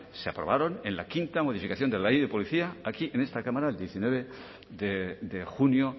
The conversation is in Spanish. se aprobaron en la quinta modificación de la ley de policía aquí en esta cámara el diecinueve de junio